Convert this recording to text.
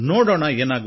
ನನಗನ್ನಿಸಿತು